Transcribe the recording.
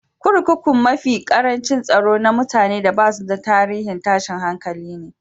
Kurkukun mafi karancin tsaro na mutane da basu da tarihin tashin hankali ne.